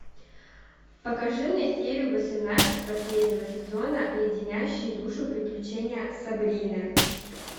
покажи мне серию восемнадцать последнего сезона леденящие душу приключения сабрины